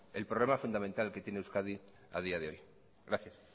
es el problema fundamental que tiene euskadi a día de hoy gracias